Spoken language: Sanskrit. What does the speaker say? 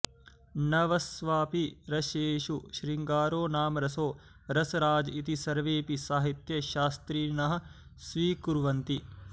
नवस्वपि रसेषु शृङ्गारो नाम रसो रसराज इति सर्वेऽपि साहित्यशास्त्रिणः स्वीकुर्वन्ति